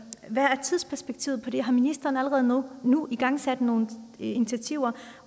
hvad er tidsperspektivet på det har ministeren allerede nu nu igangsat nogle initiativer